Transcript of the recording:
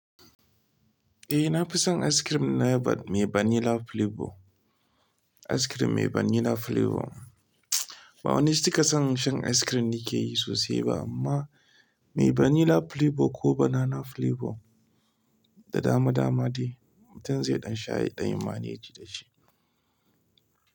Eh, na fi son ice cream na mai vanilla flavor. Ice cream mai vanilla flavor. Ba wani ci ka san shan ice cream ni ke yi sosai ba amma mai vanilla flavor ko banana flavor da dama dama dai mutum zai ɗan sha ya ɗan yi maneji da shi.